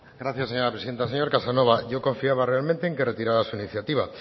gracias señora presidenta señor casanova yo confiaba realmente en que retirara su iniciativa